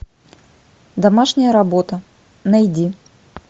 домашняя работа найди